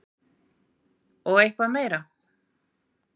Og eitthvað meira?